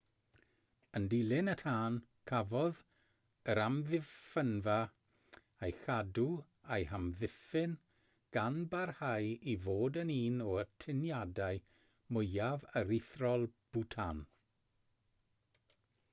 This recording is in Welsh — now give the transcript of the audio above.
yn dilyn y tân cafodd yr amddiffynfa ei chadw a'i hamddiffyn gan barhau i fod yn un o atyniadau mwyaf aruthrol bhwtan